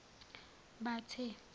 bathe